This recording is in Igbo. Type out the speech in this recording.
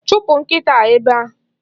Chụpụ nkịta a ebe a!